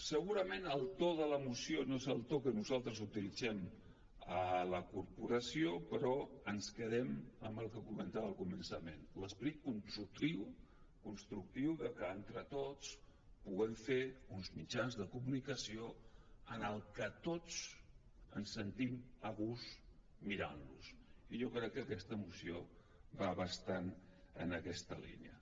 segurament el to de la moció no és el to que nosaltres utilitzem a la corporació però ens quedem amb el que comentava al començament l’esperit constructiu que entre tots puguem fer uns mitjans de comunicació en què tots ens sentim a gust mirant los i jo crec que aquesta moció va bastant en aquesta línia